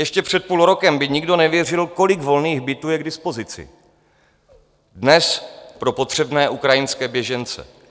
Ještě před půl rokem by nikdo nevěřil, kolik volných bytů je k dispozici dnes pro potřebné ukrajinské běžence.